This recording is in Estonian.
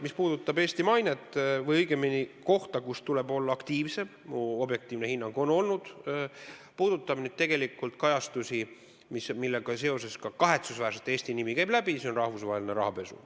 Mis puudutab Eesti mainet või õigemini kohta, kus tuleb olla aktiivsem, siis minu objektiivne hinnang on olnud – see puudutab kajastusi, millega seoses kahetsusväärselt ka Eesti nimi on läbi käinud –, et see on rahvusvaheline rahapesu.